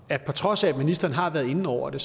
der på trods af at ministeren har været inde over det